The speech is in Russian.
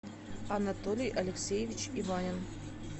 анатолий алексеевич иванин